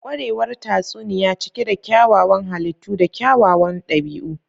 Kwarewar tatsuniya cike da kyawawan halittu da kyawawan dabi'u.